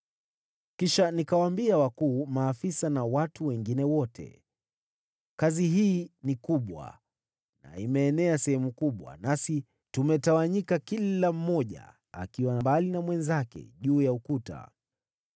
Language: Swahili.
Kisha nikawaambia wakuu, maafisa na watu wengine wote, “Kazi hii ni kubwa na imeenea sehemu kubwa, nasi tumetawanyika kila mmoja akiwa mbali na mwenzake juu ya ukuta.